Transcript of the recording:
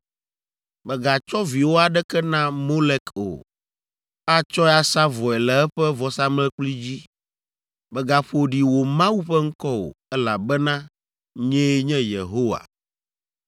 “ ‘Mègatsɔ viwò aɖeke na Molek o; atsɔe asa vɔe le eƒe vɔsamlekpui dzi. Mègaƒo ɖi wò Mawu ƒe ŋkɔ o, elabena nyee nye Yehowa.